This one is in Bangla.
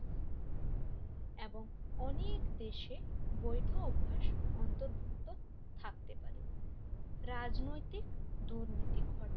এবং অনেক দেশে বৈধ অভ্যাস অন্তর্ভুক্ত থাকতে পারে রাজনৈতিক দুর্নীতি ঘটে